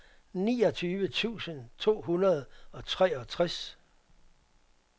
niogtyve tusind to hundrede og treogtres